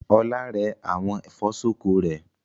Ọlá rẹ àwọn ẹ̀fọ́ ṣọkọ rẹ̀.